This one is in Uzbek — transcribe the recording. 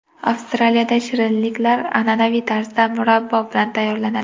Avstraliyada shirinliklar an’anaviy tarzda murabbo bilan tayyorlanadi.